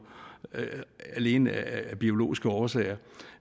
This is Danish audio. alene af biologiske årsager